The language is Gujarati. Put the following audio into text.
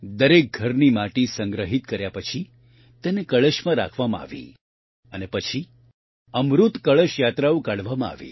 દરેક ઘરથી માટી સંગ્રહિત કર્યા પછી તેને કળશમાં રાખવામાં આવી અને પછી અમૃત કળશ યાત્રાઓ કાઢવામાં આવી